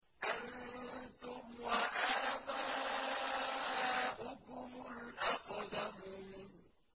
أَنتُمْ وَآبَاؤُكُمُ الْأَقْدَمُونَ